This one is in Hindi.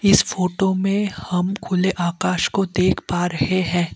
इस फोटो में हम खुले आकाश को देख पा रहे हैं।